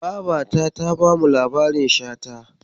Babata ta bamu labarin Shata.